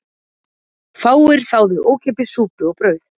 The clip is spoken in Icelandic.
Fáir þáðu ókeypis súpu og brauð